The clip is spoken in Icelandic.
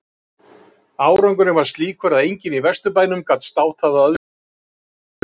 Árangurinn var slíkur að enginn í Vesturbænum gat státað af öðrum eins gæðagrip.